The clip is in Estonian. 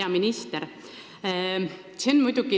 Hea minister!